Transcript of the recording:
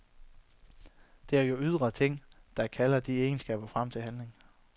Det er jo ydre ting, der kalder de egenskaber frem til handling.